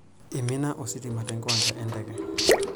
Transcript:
Eimina ositima tenkiwanja enteke.